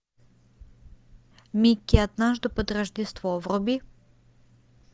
микки однажды под рождество вруби